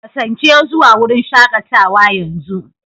Kasance zuwa wurin shakatawa yanzu!